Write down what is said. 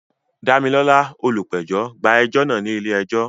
Damilola, olùpẹ̀jọ́, gba ẹjọ́ náà ní ilé ẹjọ́.